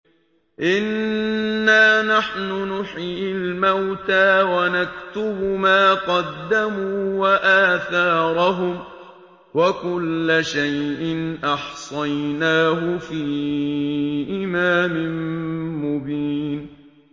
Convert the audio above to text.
إِنَّا نَحْنُ نُحْيِي الْمَوْتَىٰ وَنَكْتُبُ مَا قَدَّمُوا وَآثَارَهُمْ ۚ وَكُلَّ شَيْءٍ أَحْصَيْنَاهُ فِي إِمَامٍ مُّبِينٍ